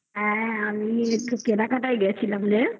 আমি একটু কেনাকাটায় গেছিলাম রে।